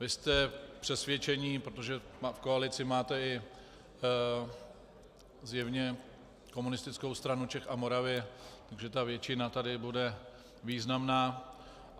Vy jste přesvědčeni, protože v koalici máte i zjevně Komunistickou stranu Čech a Moravy, že ta většina tady bude významná.